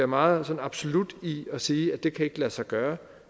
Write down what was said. meget absolut i at sige at det ikke kan lade sig gøre